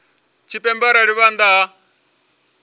tshipembe arali vha nnḓa ha